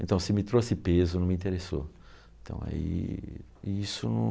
Então, se me trouxe peso, não me interessou. Então aí, isso não